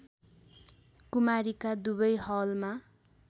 कुमारीका Dubai Halma